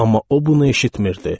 Amma o bunu eşitnirdi.